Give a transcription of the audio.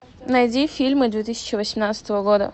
найди фильмы две тысячи восемнадцатого года